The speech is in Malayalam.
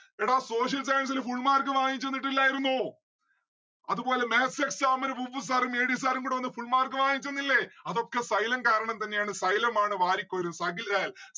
എടാ social science ല് full mark വാങ്ങിച്ചന്നിട്ടില്ലായിരുന്നു. അതുപോലെ maths exam ന് sir ഉം ADsir ഉം കൂടെ വന്ന് full mark വാങ്ങിച്ചന്നില്ലേ അതൊക്കെ xylom കാരണം തന്നെയാണ് xylom ആണ് വാരിക്കോരി അഖിൽ ലാൽ